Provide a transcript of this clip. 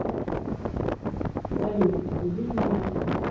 салют убить меня